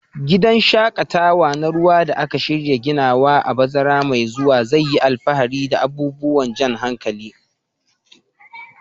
Gidan shaƙatawa na ruwa da aka shirya ginawa a bazara mai zuwa zai yi alfahari da abubuwan jan hankali.